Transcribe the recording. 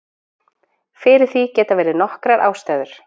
Fyrir því geta verið nokkrar ástæður.